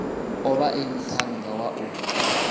o vhae muṱhannga wa u